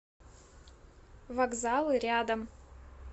вокзалы рядом